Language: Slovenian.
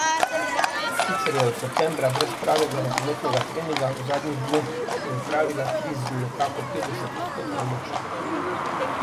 Sicer je od septembra brez pravega rokometnega treninga, v zadnjih dneh je opravila tri z nekako petdeset odstotkov moči.